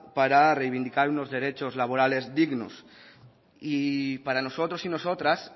para reivindicar unos derechos laborales dignos y para nosotros y nosotras